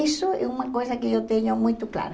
Isso é uma coisa que eu tenho muito clara.